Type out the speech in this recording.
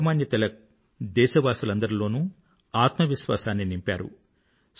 లోకమాన్య తిలక్ దేశవాసులందరిలోనూ ఆత్మవిశ్వాసాన్ని నింపారు